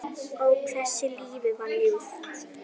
Ó, hversu lífið var ljúft.